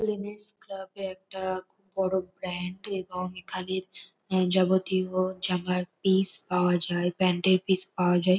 M S. Club -এ একটা খুব বড় ব্র্যান্ড এবং এখানের যাবতীয় জামার পিস পাওয়া যায় প্যান্ট -এর পিস পাওয়া যায়।